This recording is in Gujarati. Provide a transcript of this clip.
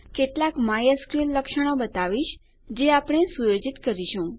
કેટલાક માયસ્કલ લક્ષણો બતાવીશ જે આપણે સુયોજિત કરીશું